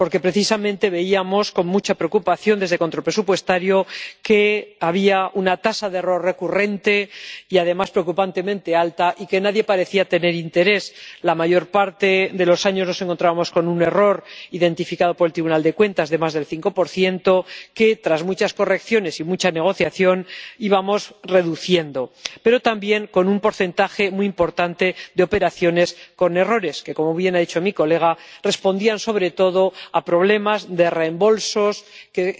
Porque precisamente veíamos con mucha preocupación, desde la Comisión de Control Presupuestario, que había una tasa de error recurrente y, además, preocupantemente alta, por la que nadie parecía tener interés. La mayor parte de los años nos encontrábamos con un error, identificado por el Tribunal de Cuentas, de más del 5 que, tras muchas correcciones y mucha negociación, íbamos reduciendo, pero también con un porcentaje muy importante de operaciones con errores que —como bien ha dicho mi colega— respondían sobre todo a problemas de reembolsos que